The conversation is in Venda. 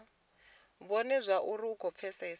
vhone zwauri vha khou pfesesa